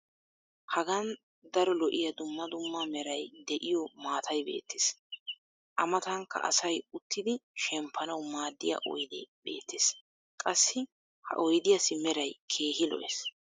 hagan daro lo'iya dumma dumma meray de'iyo maatay beetees. a matankka asay uttidi shemppanawu maadiya oydee beetees. qassi ha oydiyassi meray keehi lo'ees.